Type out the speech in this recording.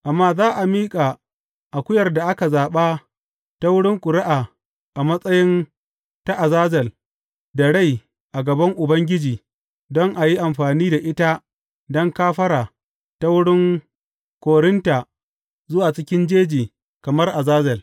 Amma za a miƙa akuyar da aka zaɓa ta wurin ƙuri’a a matsayi ta azazel da rai a gaban Ubangiji don a yi amfani da ita don kafara ta wurin korinta zuwa cikin jeji kamar azazel.